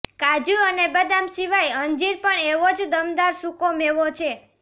કાજુ અને બદામ સિવાય અંજીર પણ એવો જ દમદાર સૂકો મેવો છે